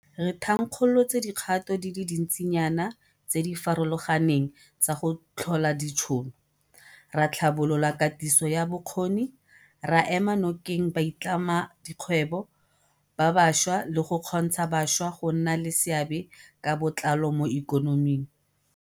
Re thankgolotse dikgato di le dintsinyana tse di farologaneng tsa go tlhola ditšhono, ra tlhabolola katiso ya bokgoni, ra ema nokeng baitlhamedikgwebo ba bašwa le go kgontsha bašwa go nna le seabe ka botlalo mo ikonoming.